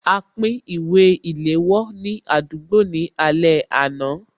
A pín ìwé ìléwọ́ ní àdúgbò ní alẹ́ àná